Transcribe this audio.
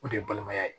O de ye balimaya ye